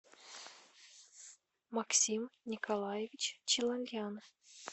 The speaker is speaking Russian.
максим николаевич челольян